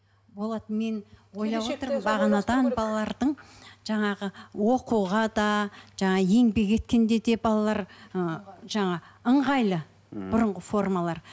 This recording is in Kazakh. болады мен ойлап отырмын бағанадан балалардың жаңағы оқуға да жаңа еңбек еткенде де балалар ы жаңа ыңғайлы бұрынғы формалар